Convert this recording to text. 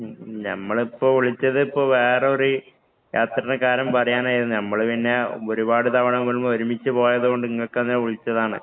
ഞമ്മളിപ്പം വിളിച്ചത് ഇപ്പൊ വേറൊരു യാത്രെടെ കാര്യം പറയാനാരുന്നു. നമ്മള് പിന്നെ ഒരുപാട് തവണ ഒരുമ്മിച്ചു പോയത് കൊണ്ട് ഇങ്ങക്ക് തന്നെ വിളിച്ചതാണ്.